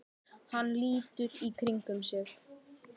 Hann lítur í kringum sig.